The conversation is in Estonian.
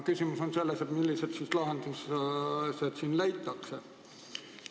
Küsimus on selles, millised lahendused siin leitakse.